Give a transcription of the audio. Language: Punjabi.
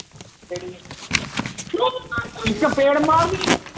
ਦ ਚਪੇੜ ਮਾਰਨੀ